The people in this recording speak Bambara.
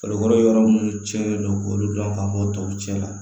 Farikolo yɔrɔ munnu cɛnnen don k'olu dɔn ka fɔ tɔw cɛ la